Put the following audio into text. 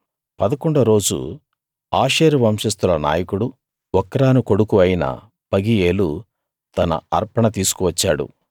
పదకొండో రోజు ఆషేరు వంశస్తుల నాయకుడూ ఒక్రాను కొడుకూ అయిన పగీయేలు తన అర్పణ తీసుకు వచ్చాడు